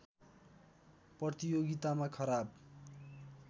प्रतियोगितामा खराब